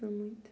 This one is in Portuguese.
Não muito.